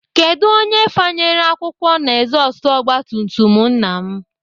Kedụ onye fanyere akwụkwọ na ezọstụ ogbatumtum nna m?